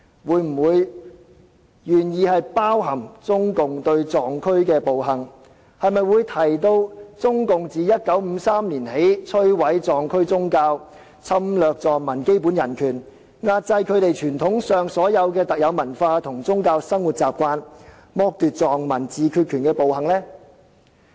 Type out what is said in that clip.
會否提及中共對藏區的暴行，會否提及中共自1953年起摧毀藏區宗教，侵略藏民基本人權，壓制他們傳統上的特有文化和宗教生活習慣，剝奪藏民自決權的暴行？